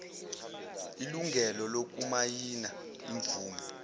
ilungelo lokumayina imvume